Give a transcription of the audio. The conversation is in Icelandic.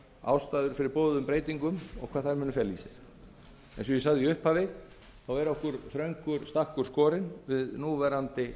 ástæður fyrir boðuðum breytingum og hvað þær muni fela í sér eins og ég sagði í upphafi þá